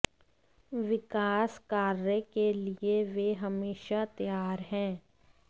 विकास कार्य के लिए वे हमेशा तैयार हैं